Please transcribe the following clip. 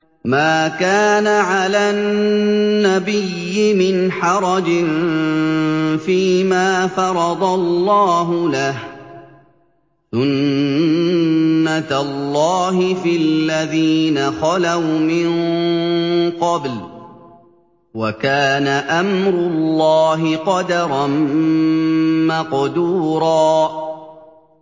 مَّا كَانَ عَلَى النَّبِيِّ مِنْ حَرَجٍ فِيمَا فَرَضَ اللَّهُ لَهُ ۖ سُنَّةَ اللَّهِ فِي الَّذِينَ خَلَوْا مِن قَبْلُ ۚ وَكَانَ أَمْرُ اللَّهِ قَدَرًا مَّقْدُورًا